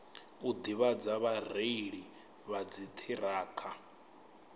u ḓivhadza vhareili vha dziṱhirakha